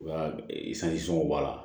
Wa i b'a la